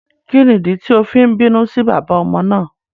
Kíni ìdí tí o fi n bínú sí bàbá ọmọ náà?